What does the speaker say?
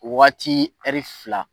Waati fila